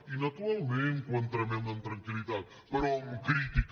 i naturalment que ho entomem amb tranquil·però amb crítica